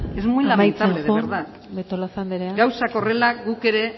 es muy lamentable de verdad amaitzen joan betolaza anderea gauzak horrela guk ere